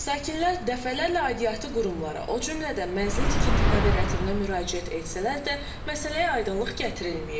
Sakinlər dəfələrlə aidiyyəti qurumlara, o cümlədən mənzil tikinti kooperativinə müraciət etsələr də, məsələyə aydınlıq gətirilməyib.